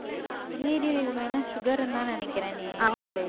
நீரிழிவு நோய்னா sugar ன்னுதான் நினைக்கிறேனே இவளே